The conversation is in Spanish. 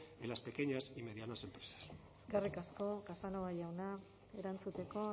en las pequeñas y medianas empresas eskerrik asko casanova jauna erantzuteko